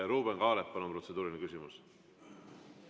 Ruuben Kaalep, palun, protseduuriline küsimus!